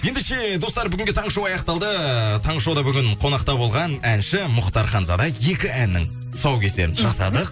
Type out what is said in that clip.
ендеше достар бүгінге таңғы шоу аяқталды таңғы шоуда бүгін қонақта болған әнші мұхтар ханзада екі әннің тұсаукесерін жасадық